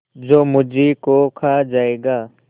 जो मुझी को खा जायगा